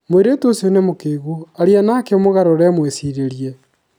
mũirĩtu ũcio nĩ mũkĩgu, arĩa nake ũmũgarũre mũicirĩrĩe